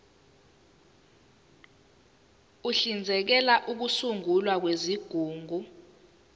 uhlinzekela ukusungulwa kwezigungu